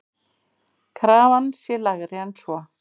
Krafan sé lægri en svo.